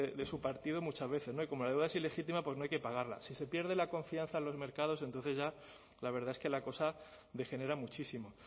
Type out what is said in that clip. de su partido muchas veces y como la deuda es ilegítima pues no hay que pagarla si se pierde la confianza en los mercados entonces ya la verdad es que la cosa degenera muchísimo